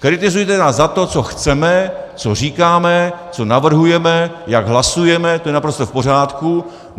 Kritizujte nás za to, co chceme, co říkáme, co navrhujeme, jak hlasujeme, to je naprosto v pořádku.